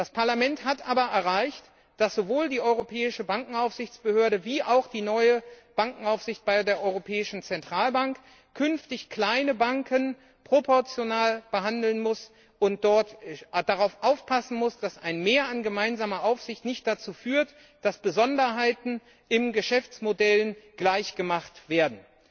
Das Parlament hat aber erreicht, dass sowohl die Europäische Bankenaufsichtsbehörde wie auch die neue Bankenaufsicht bei der Europäischen Zentralbank künftig kleine Banken proportional behandeln müssen und dabei aufpassenmüssen, dass ein Mehr an gemeinsamer Aufsicht nicht dazu führt, dass Besonderheiten in Geschäftsmodellen gleichgemacht werden.